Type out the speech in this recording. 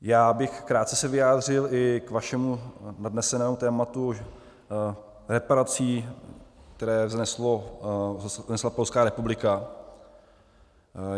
Já bych se krátce vyjádřil i k vašemu nadnesenému tématu reparací, které vznesla Polská republika.